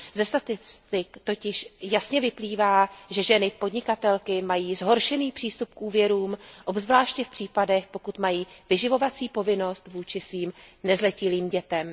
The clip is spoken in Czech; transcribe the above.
Ze statistik totiž jasně vyplývá, že ženy podnikatelky mají zhoršený přístup k úvěrům, obzvláště v případech, pokud mají vyživovací povinnost vůči svým nezletilým dětem.